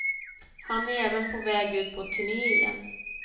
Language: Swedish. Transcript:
Han är även på väg ut på turné igen.